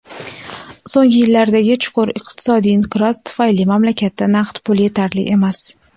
So‘nggi yillardagi chuqur iqtisodiy inqiroz tufayli mamlakatda naqd pul yetarli emas.